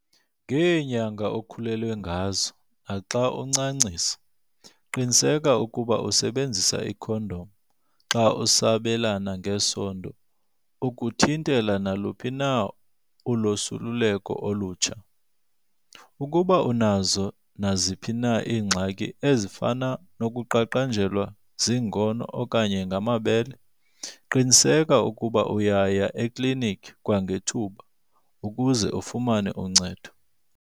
Ngeenyanga okhulelwe ngazo, naxa uncancisa, qiniseka ukuba usebenzisa ikhondom xa usabelana ngesondo ukuthintela naluphi na ulosuleleko olutsha. Ukuba unazo naziphi na iingxaki ezifana nokuqaqanjelwa ziingono okanye ngamabele, qiniseka ukuba uyaya ekliniki kwangethuba ukuze ufumane uncedo.